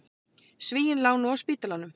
Svíinn lá nú á spítalanum.